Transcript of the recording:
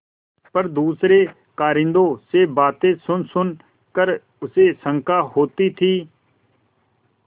पर दूसरे कारिंदों से बातें सुनसुन कर उसे शंका होती थी